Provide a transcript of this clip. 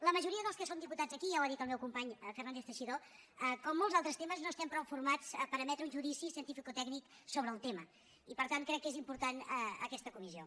la majoria dels que som diputats aquí ja ho ha dit el meu company fernández teixidó com en molts altres temes no estem prou formats per emetre un judici cientificotècnic sobre el tema i per tant crec que és important aquesta comissió